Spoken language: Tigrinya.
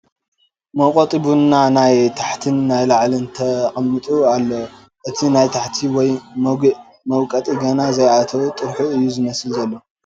መውቐጢ ቡና ናይ ታሕትን ናይ ላዕልን ተቐሚጡ ኣሎ እቲ ናይ ታሕቲ ወይ መጉእ መውቐጢ ገና ዘይኣተዎ ጥርሑ እዩ ዝመስል ዘሎ ።